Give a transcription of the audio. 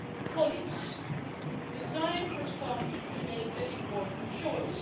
Colleagues, the time has come to make an important choice.